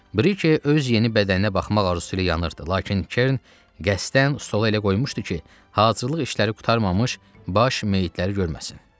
Brike öz yeni bədəninə baxmaq arzusu ilə yanırdı, lakin Kerrin qəsdən stolu elə qoymuşdu ki, hazırlıq işləri qurtarmamış baş meyitləri görməsin.